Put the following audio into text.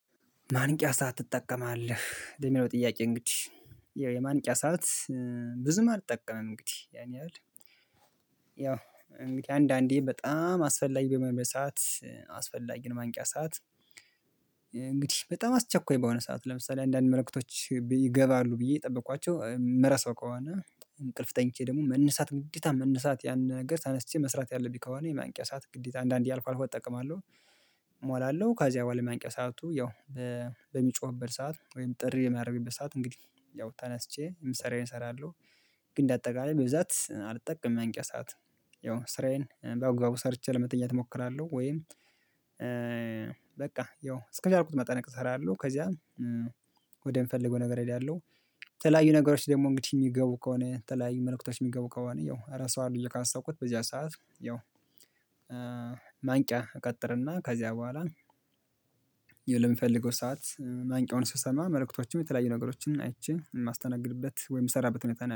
ማንቂያ ሰዓት ትጠቀማለህ ለሚለው ጥያቄ እንግዲህ የማንቂያ ሰዓት ብዙም አልጠቀምም እንግዲህ ያን ያህል ያው እንግዲህ አንዳንዴ በጣም አስፈላጊ በሚሆንበት ሰዓት አስፈላጊ ነው ማንቂያ ሰዓት። እንግዲህ በጣም አስቸኳይ በሆነ ሰዓት ለምሳሌ አንዳንድ መልእክቶች ይገባሉ ብዬ እየጠበቅኳቸው የምረሳው ከሆነ እንቅልፍ ተኝቼ ደግሞ መነሳት ግዴታ መነሳት ያን ነገር ተነስቼ መስራት ያለብኝ ከሆነ የማንቂያ ሰዓት ግዴታ አንዳንዴ አልፎ አልፎ እጠቀማለሁ። እሞላለሁ ካዚያ በኋላ የማንቂያ ሰዓቱ ያው በሚጮህበት ሰዓት ወይም ጥሪ የሚያደርግበት ሰዓት እንግዲህ ያው ተነስቼ የምሰራዬን እሰራለሁ። ግን እንደ አጠቃላይ በብዛት አልጠቀምም የማንቂያ ሰዓት። ያው ስራዬን በአግባቡ ሰርቼ ለመተኛት እሞክራለሁ ወይም በቃ ያው እስከቻልኩት መጠን እሰራለሁ ከዚያም ወደ ምፈልገው ነገር እሄዳለሁ። የተለያዩ ነገሮች ደግሞ እንግዲህ የሚገቡ ከሆነ የተለያዩ መልእክቶች የሚገቡ ከሆነ ያው እረሳዋለው ብዬ ካሰብኩት በዚያ ሰዓት ያው ማንቂያ እቀጥርና ከዚያ በኋላ የለምፈልገው ሰዓት ማንቂያውን ስሰማ መልእክቶችም የተለያዩ ነገሮችን አይቼ የማስተናግድበት ወይም የምሰራበት ሁኔታ ነው